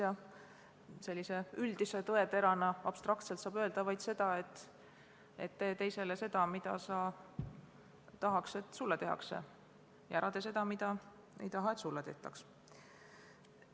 Ja sellise üldise tõeterana saab abstraktselt öelda vaid seda, et tee teisele seda, mida sa tahad, et sulle tehakse, ja ära tee seda, mida ei taha, et sulle tehtaks.